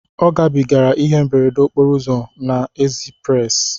Ọ gabigara ihe mberede okporo ụzọ na ezprezị